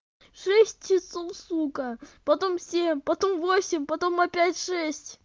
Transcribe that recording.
в шесть часов сука потом в семь потом в восемь потом опять в шесть